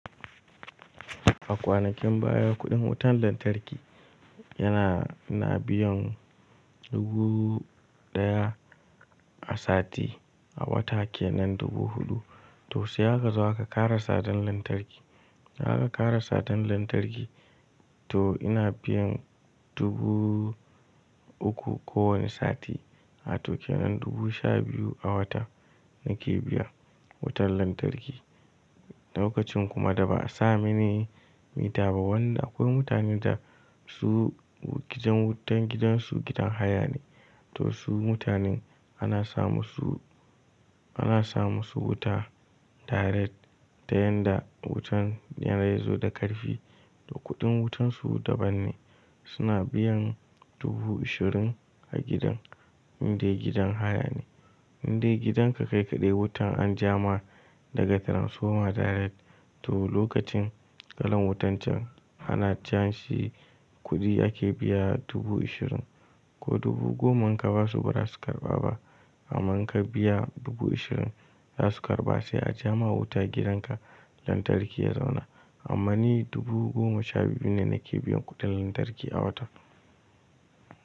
A kwanakin baya kuɗin wutan lantarki yana ina biyan dubu ɗaya a sati a wata ke nan dubu huɗu. To sai akazo aka za ka ƙara sadan lantarki. Za ka ƙara sadan lantarki to ina biyan dubu uku kowane sati a to ke nan dubu sha biyu a wata nake biya wutan lantarki. Lokacin kuma da ba a samini mita ba wanda akwai mutanen da su gidan wutan gidansu gidan haya ne. To su mutanen ana samu su, ana samu su wuta direct da yanda wutan yana iya zo da ƙarfi da kuɗin wutansu daban ne. Suna biyan dubu ashirin a gidan inda gidan haya ne. Indai gidanka kai kaɗai wutan an ja ma daga transformer direct to lokacin kalan wutan can ana janshi kuɗi ake biya dubu ashirin ko dubu goma inka basu bara su karɓa ba. Amma in ka biya dubu ashirin za su karɓa sai a ja ma wuta gidanka lantarki ya zauna. Amma ni dubu goma sha biyu ne nake biyan kuɗin lantarki a wata.